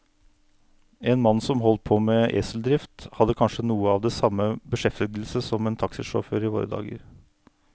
En mann som holdt på med eseldrift, hadde kanskje noe av den samme beskjeftigelse som en taxisjåfør i våre dager.